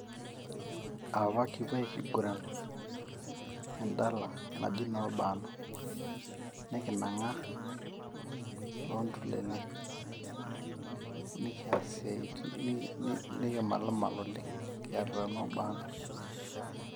Apa kipuo ainguran endala naji noo bano nikinangaa tontulele, nikias isiatin niki nikimalmal oleng kiarita nobanoo.